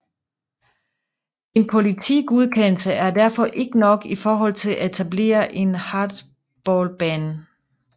En politigodkendelse er derfor ikke nok i forhold til at etablere en hardballbane